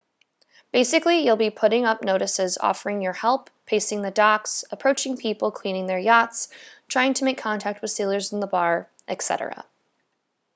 basically you'll be putting up notices offering your help pacing the docks approaching people cleaning their yachts trying to make contact with sailors in the bar etc